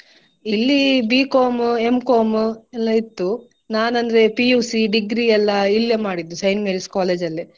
ಇಲ್ಲಿ B.Com, M.Com ಎಲ್ಲ ಇತ್ತು ನಾನಂದ್ರೆ PUC degree ಎಲ್ಲಾ ಇಲ್ಲೇ ಮಾಡಿದ್ದು Saint Mary's College ಅಲ್ಲೆ.